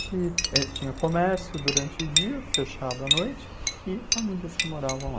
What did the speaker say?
tinha comércio durante o dia, fechado à noite, e famílias que moravam lá.